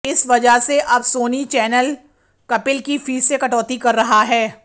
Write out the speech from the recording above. इस वजह से अब सोनी चैनल कपिल की फीस से कटौती कर रहा है